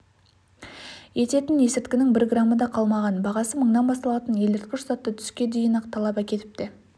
ететін есірткінің бір грамы да қалмаған бағасы мыңнан басталатын елірткіш затты түске дейін-ақ талап әкетіпті